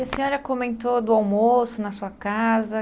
E a senhora comentou do almoço na sua casa.